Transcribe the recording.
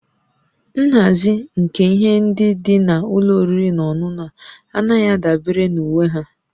Nhazi nke ihe ndị dị na ụlọ oriri na ọṅụṅụ a anaghị adabere na uwe ha